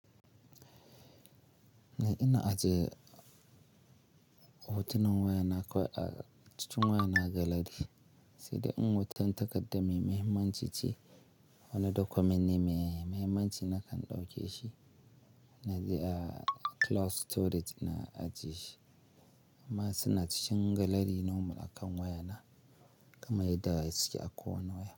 Ni ina ajiye hotunan wayana kwai a cikin wayana gallery sai dai in hotan takaddan mai mahimmanci ce wande document ne mai mahimmanci na kan dauke shi inaji a cloud storage na ajiye shi. Amma suna cikin gallery normal akan wayana kamar yadda suke a kowane waya.